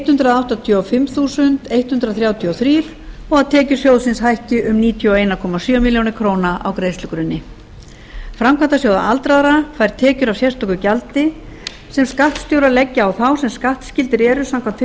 hundrað áttatíu og fimm þúsund hundrað þrjátíu og þrjú og tekjur sjóðsins hækki um níutíu og einn komma sjö milljónir króna á greiðslugrunni framkvæmdasjóður aldraðra fær tekjur af sérstöku gjaldi sem skattstjórar leggja á þá sem skattskyldir eru samkvæmt